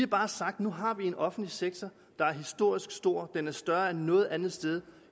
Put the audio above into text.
bare sagt at nu har vi en offentlig sektor der er historisk stor den er større end noget andet sted